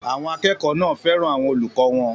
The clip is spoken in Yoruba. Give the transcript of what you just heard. Àwọn akẹ́kọ̀ọ́ náà fẹ́ràn àwọn olùkọ́ wọn.